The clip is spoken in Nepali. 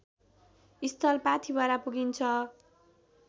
स्थल पाथिभरा पुगिन्छ